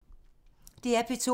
DR P2